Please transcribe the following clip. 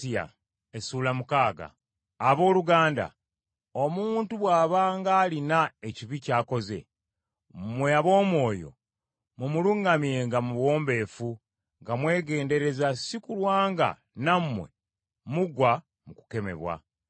Abooluganda omuntu bw’abanga alina ekibi ky’akoze, mmwe ab’omwoyo mumuluŋŋamyenga mu buwombeefu nga mwegendereza si kulwa nga nammwe mugwa mu kukemebwa.